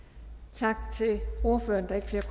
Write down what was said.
tak